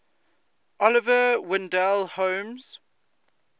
oliver wendell holmes